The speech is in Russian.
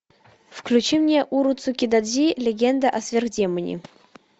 включи мне уроцукидодзи легенда о сверхдемоне